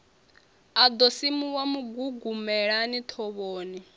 a ḓo simuwa mugugumelani thovhoni